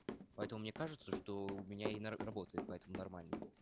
поэтому мне кажется что у меня и работает поэтому нормально